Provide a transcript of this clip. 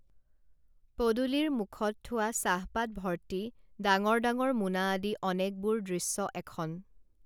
পদূলিৰ মূখত থোৱা চাহপাত ভৰ্তি ডাঙৰ ডাঙৰ মোনা আদি অনেকবোৰ দৃশ্য এখন